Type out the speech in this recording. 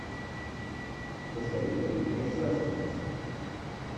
посоветуй мне саспенс